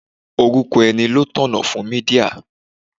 Orúkọ ènìyàn ló tọ̀nà fún Mídíà.